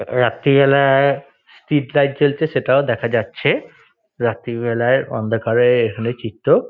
রাত্রিবেলায় street light জ্বলছে সেটাও দেখা যাচ্ছে। রাত্রিবেলায় অন্ধকারের এখানে চিত্র।